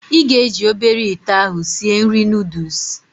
Ị ga-eji obere ite ahụ sịe nri noodụs